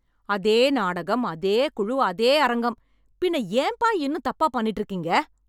அதே நாடகம், அதே குழு, அதே அரங்கம், பின்ன ஏன்ப்பா இன்னும் தப்பா பண்ணிட்டு இருக்கீங்க?